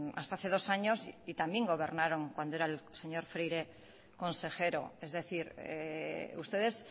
hasta hace dos años y también gobernaron cuando era del señor freire consejero es decir ustedes